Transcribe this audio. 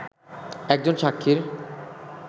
একজন সাক্ষীর